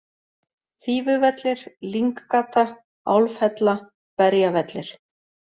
Fífuvellir, Lynggata, Álfhella, Berjavellir